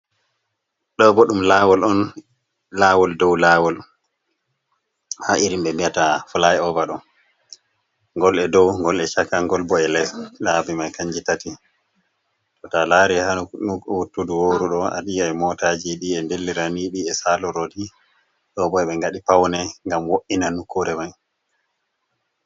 do bo dum lawol on, lawol dow lawol, ha irin be mbiyata fiiai ova do, ngol e dow, ngol e chaka, ngol bo e les. labi mai kanji tati. to a lari ha wottudu worudo a yi ai motaji d’e dellira ni bi e salo roni, do bo be ngadi paune ngam wo’ina nokkure mai.